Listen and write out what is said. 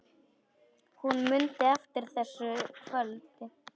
Hún mundi eftir þessu kvöldi.